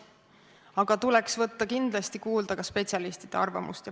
Aga tuleks võtta kindlasti kuulda ka spetsialistide arvamust.